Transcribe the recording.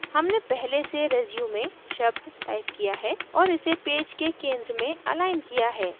हमने पहले से resume शब्द टाइप किया है और इसे पेज के center में अलाइन एकरेखित किया है